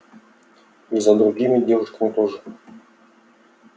и за другими девушками тоже